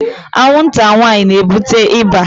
Anwụnta nwanyị na-ebute ịba